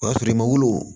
O y'a sɔrɔ i ma wolo